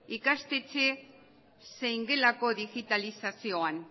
ikastetxe zein gelako digitalizazioan